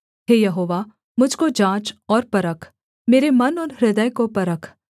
हे यहोवा मुझ को जाँच और परख मेरे मन और हृदय को परख